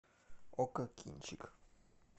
окко кинчик